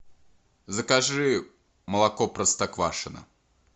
закажи молоко простоквашино